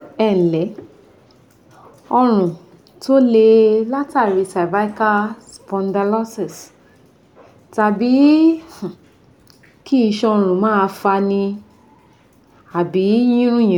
Ẹǹlẹ́, Ọrùn tó le látàrí cervical spondylosis tàbí um kí isan ọrùn máa fani àbí yínrùnyínrùn